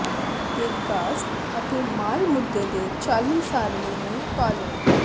ਦੇ ਵਿਕਾਸ ਅਤੇ ਮਾਲ ਮੁੱਦੇ ਦੇ ਚਾਲੂ ਸਾਰਣੀ ਨੂੰ ਪਾਲਣਾ